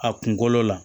A kunkolo la